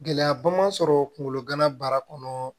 Gɛlɛyaba ma sɔrɔ kungolo gana baara kɔnɔ